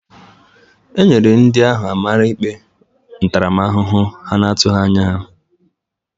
E nyere ndị ahụ amara ikpe ntaramahụhụ ha na-atụghị anya ya.